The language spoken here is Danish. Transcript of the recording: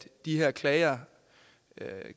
de her klager